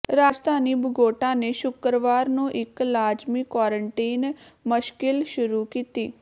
ਰਾਜਧਾਨੀ Bogota ਨੇ ਸ਼ੁੱਕਰਵਾਰ ਨੂੰ ਇਕ ਲਾਜ਼ਮੀ ਕੁਆਰੰਟੀਨ ਮਸ਼ਕਿਲ ਸ਼ੁਰੂ ਕੀਤੀ